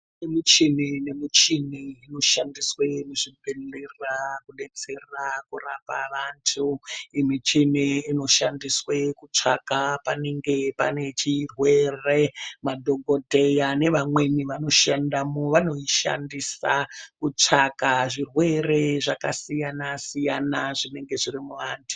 Kune muchini ne muchini ino shandiswe mu zvibhedhlera kudetsera kurapa vantu iyi michini ino shandiswe kutsvaka panenge pane chirwere madhokodheya ne vamweni vano shandamo vanoi shandisa kutsvaka zvirwere zvaka siyana siyana zvinenge zvirimu vantu.